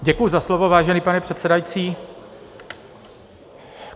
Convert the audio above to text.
Děkuji za slovo, vážený pane předsedající.